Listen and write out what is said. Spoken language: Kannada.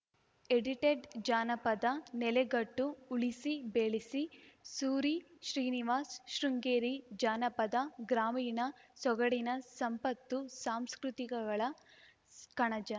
ಎಡಿಟೆಡ್‌ ಜಾನಪದ ನೆಲೆಗಟ್ಟು ಉಳಿಸಿ ಬೆಳೆಸಿ ಸೂರಿ ಶ್ರೀನಿವಾಸ್‌ ಶೃಂಗೇರಿ ಜಾನಪದ ಗ್ರಾಮೀಣ ಸೊಗಡಿನ ಸಂಪತ್ತು ಸಾಂಸ್ಕೃತಿಕಗಳ ಕಣಜ